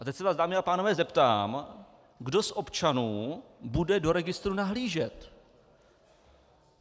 A teď se vás, dámy a pánové, zeptám, kdo z občanů bude do registru nahlížet.